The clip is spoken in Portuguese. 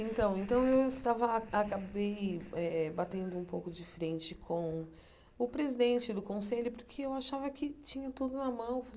Então então, eu estava acabei eh eh batendo um pouco de frente com o presidente do conselho, porque eu achava que tinha tudo na mão.